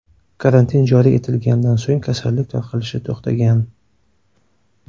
Karantin joriy etilganidan so‘ng kasallik tarqalishi to‘xtagan.